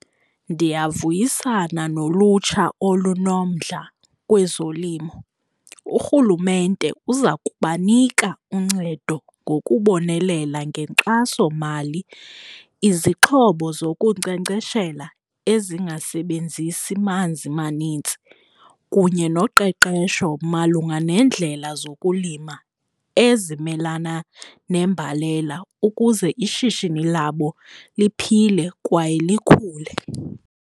Ndiyavuyisana nolutsha olunomdla kwezolimo. Urhulumente uza kubanika uncedo ngokubonelela ngenkxasomali, izixhobo zokunkcenkceshela ezingasebenzisi manzi manintsi kunye noqeqesho malunga nendlela zokulima ezimelana nembalela ukuze ishishini labo liphile kwaye likhule.